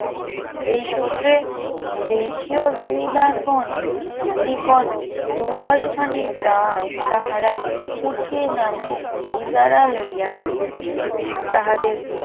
এই সুত্রে দেশীয় জমিদারগণের নিকট দুদশ খানি গ্রাম তাহারা কুঠি নামে ইজারা লইয়া ছিলেন তাহাদের